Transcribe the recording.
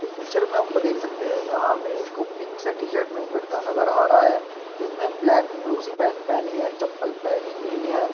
इस पिक्चर में हम देख सकते है यहाँ हमे एक पिंक से टी-शर्ट में एक लड़का नजर आ रहा है जिसने ब्लैक ब्लू सी पेंट पहनी है चप्पल पहनी हुई है।